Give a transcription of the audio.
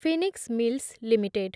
Phoenix mills limited